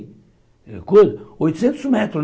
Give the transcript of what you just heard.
oitocentos metros, né?